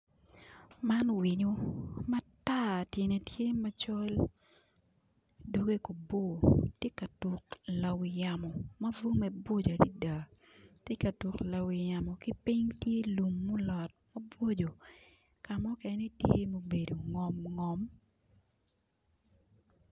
Man winyo matar tyene tye macol doge kono bor tye ka tuk lawi yamo ma bwomme bocco ad is adada gitye ka tuk lawi yamo ki piny lum olot mabocco ka mukene tye mubedo ngom ngom